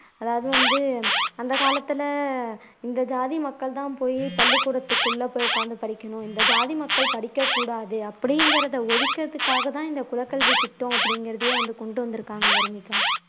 அதாவது வந்து அந்த காலத்துல இந்த ஜாதி மக்கள்தான் போயி பள்ளிக்கூடத்துக்குள்ள போய் உட்கார்ந்து படிக்கணும் இந்த ஜாதி மக்கள் படிக்ககூடாது அப்படிங்கிறதை ஒழிக்கிறதுக்காகத்தான் இந்த குலக்கல்வித்திட்டம் அப்படிங்கிறதையே வந்து கொண்டு வந்துருக்கிறாங்க வர்னிகா